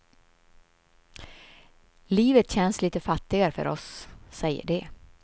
Livet känns lite fattigare för oss, säger de.